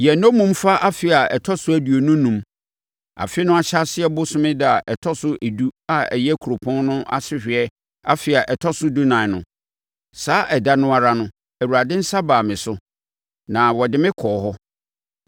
Yɛn nnommumfa afe a ɛtɔ so aduonu enum, afe no ahyɛaseɛ bosome ɛda a ɛtɔ so edu a ɛyɛ kuropɔn no asehweɛ afe a ɛtɔ so dunan no, saa ɛda no ara no Awurade nsa baa me so, na ɔde me kɔɔ hɔ.